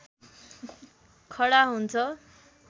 खडा हुन्छ